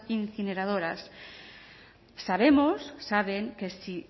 incineradoras sabemos saben que si